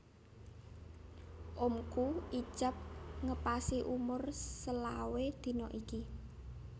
Omku ijab ngepasi umur selawe dino iki